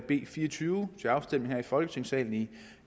b fire og tyve til afstemning her i folketingssalen i